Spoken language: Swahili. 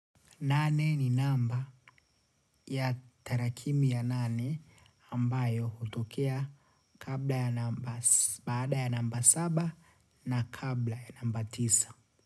Nane ni namba ya tarakimu ya nane ambayo hutokea baada ya namba saba na kabla ya namba tisa.